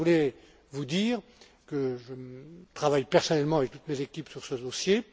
Je voulais vous dire que je travaille personnellement avec toutes mes équipes sur ce dossier.